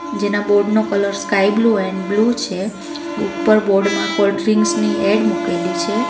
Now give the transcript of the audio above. જેના બોર્ડ નો colour sky blue and blue છે ઉપર બોર્ડ માં કોલ્ડ્રિંક્સ ની એડ મૂકેલી છે.